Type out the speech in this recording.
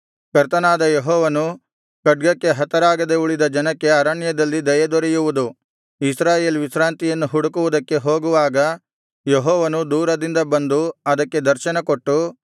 ಕರ್ತನಾದ ಯೆಹೋವನು ಖಡ್ಗಕ್ಕೆ ಹತರಾಗದೆ ಉಳಿದ ಜನಕ್ಕೆ ಅರಣ್ಯದಲ್ಲಿ ದಯೆ ದೊರೆಯುವುದು ಇಸ್ರಾಯೇಲ್ ವಿಶ್ರಾಂತಿಯನ್ನು ಹುಡುಕುವುದಕ್ಕೆ ಹೋಗುವಾಗ ಯೆಹೋವನು ದೂರದಿಂದ ಬಂದು ಅದಕ್ಕೆ ದರ್ಶನಕೊಟ್ಟು